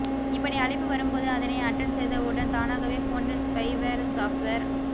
இப்படி அழைப்பு வரும்போது அதனை அட்டன் செய்தவுடன் தானகவே போனில் ஸ்பைவேர் சாஃப்ட்வேர்